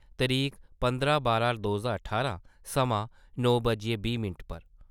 तरीक पंदरां बारां दो ज्हार ठारां समां नौ बज्जियै बीह् मैंट पर